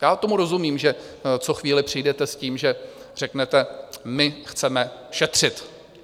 Já tomu rozumím, že co chvíli přijdete s tím, že řeknete: my chceme šetřit.